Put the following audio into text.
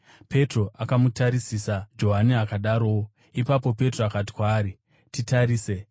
Petro akamutarisisa, Johani akadarowo. Ipapo Petro akati kwaari, “Titarise!”